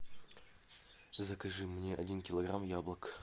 закажи мне один килограмм яблок